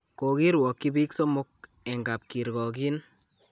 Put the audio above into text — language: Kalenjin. Kokirwokyi biik somok eng kap kirgokiin